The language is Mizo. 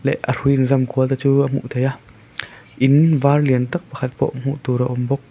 leh a hrui in zam kual te chu a hmuh theih a in var lian tak pakhat pawh hmuh tur a awm bawk.